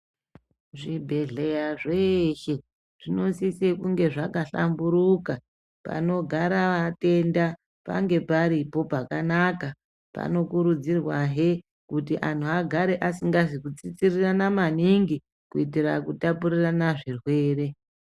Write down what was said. Zvibhedhleya zveeshe zvinosise kunge zvahlamburuka panogara vatenda pange paripo pakanaka panokurudzirwahe kuti anhu agare asingazi kutsitsirana maningi kuitira kutapurirana zvirwere.